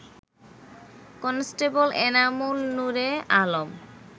constable Enamul Noore Alam